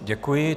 Děkuji.